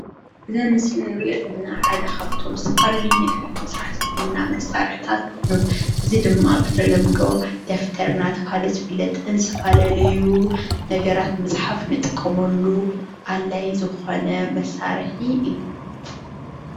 እዚ አብ ምስሊ እንሪኦ ዘለና ሓደ ካብቶም ዝተፈላለዩ ነገራት ንምስራሕ ዝጠቅሙና መሳርሕታት ኮይኑ እዚ ድማ ብተለምዶ ደፍተር እናተባህለ ዝፍለጥን ዝተፈላለዩ ነገራት ንምፅሓፍ እንጥቀመሉ አድላዪ ዝኾነ መሳርሒ እዩ።